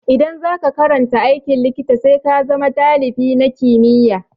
Idan za ka karanta aikin likita, sai ka zama dalibi na kimiyya.